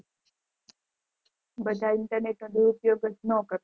બઘા internet દુરુપયોગ ન કરત